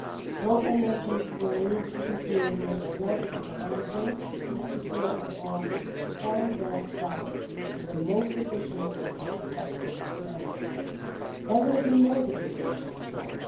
Strong energies will need to be created in order to allow both the EPPO and OLAF to perform their tasks in the most efficient and productive manner. There will be no duplication of work.